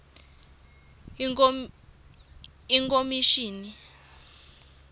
ikhomishini